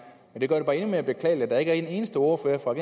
men det gør det bare endnu mere beklageligt at der ikke er en eneste ordfører fra